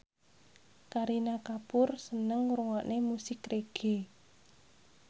Kareena Kapoor seneng ngrungokne musik reggae